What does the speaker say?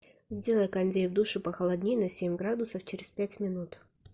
сделай кондей в душе похолоднее на семь градусов через пять минут